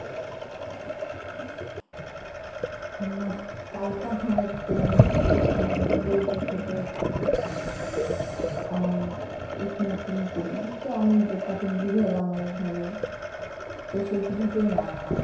নাহ কালকে আমার এক friend মানে বলতেছে যে হচ্ছে যে আমি smoking করি তো আমি যে তাকে বুঝাইলাম অনেকভাবে তো সে কিছুতেই না